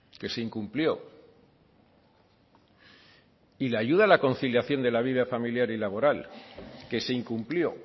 que se incumplió y la ayuda a la conciliación de la vida familiar y laboral que se incumplió